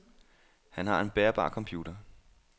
Han har en bærbar computer.